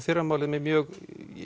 fyrramálið með mjög